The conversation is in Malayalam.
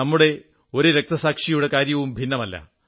നമ്മുടെ ഒരു വീര രക്തസാക്ഷിയുടെയും കാര്യം ഭിന്നമല്ല